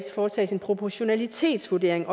foretages en proportionalitetsvurdering